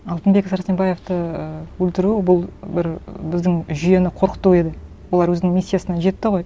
алтынбек сәрсенбаевты ы өлтіру бұл бір біздің жүйені қорқыту еді олар өзінің миссиясына жетті ғой